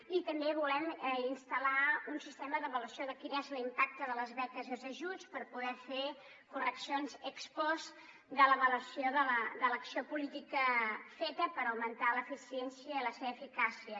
i també volem instal·lar un sistema d’ava·luació de quin és l’impacte de les beques i els ajuts per poder fer correccions ex postde l’avaluació de l’acció política feta per augmentar la seva eficiència i la seva eficà·cia